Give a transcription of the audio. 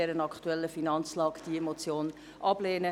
Ich danke Ihnen für die Kenntnisnahme.